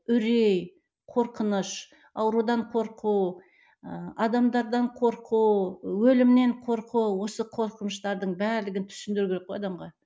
үрей қорқыныш аурудан қорқу ыыы адамдардан қорқу өлімнен қорқу осы қорқыныштардың барлығын түсіндіру керек қой адамға